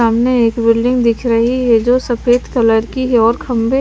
सामने एक बिल्डिंग दिख रही है जो सफेद कलर की है और खम्बे--